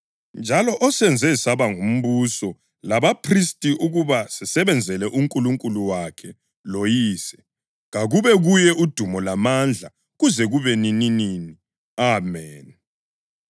njalo osenze saba ngumbuso labaphristi ukuba sisebenzele uNkulunkulu wakhe loYise, kakube kuye udumo lamandla kuze kube nininini! Ameni.